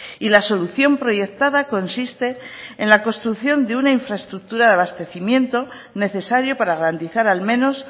y la solución proyectada consiste en la construcción de una infraestructura de abastecimiento necesario para garantizar al menos